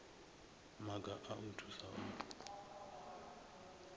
maga a u thusa o